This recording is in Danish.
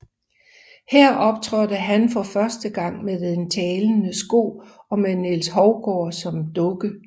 Her optrådte han for første gang med den talende sko og med Niels Hovgaard som dukke